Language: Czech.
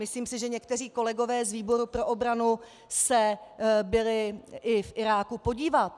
Myslím si, že někteří kolegové z výboru pro obranu se byli i v Iráku podívat.